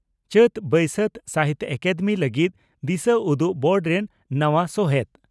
ᱪᱟᱹᱛᱼᱵᱟᱹᱭᱥᱟᱹᱛ, ᱥᱟᱦᱤᱛᱭᱚ ᱟᱠᱟᱫᱮᱢᱤ ᱞᱟᱹᱜᱤᱫ ᱫᱤᱥᱟᱹ ᱩᱫᱩᱜ ᱵᱳᱨᱰ ᱨᱮᱱ ᱱᱟᱣᱟ ᱥᱚᱦᱮᱛ